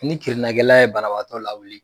Ni kirinakɛla ye banabaatɔ lawili.